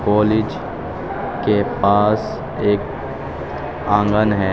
College के पास एक आंगन है।